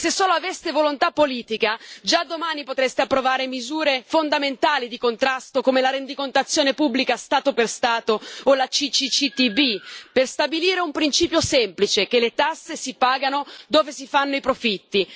E se solo aveste volontà politica, già domani potreste approvare misure fondamentali di contrasto, come la rendicontazione pubblica Stato per Stato o la CCCTB, per stabilire un principio semplice che le tasse si pagano dove si fanno i profitti.